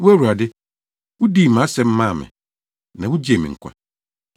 Wo Awurade, wudii mʼasɛm maa me; na wugyee me nkwa.